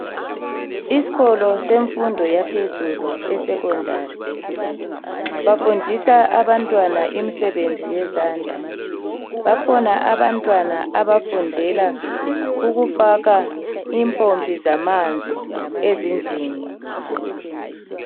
Iskolo semfundo yaphezulu esecondary bafundisa abantwana imisebenzi yezandla. Bakhona abantwana abafundela ukufaka impompi zamanzi ezindlini.